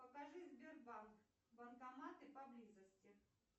покажи сбербанк банкоматы поблизости